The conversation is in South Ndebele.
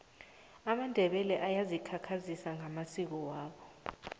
amandebele ayazikhakhazisa ngamasiko wabo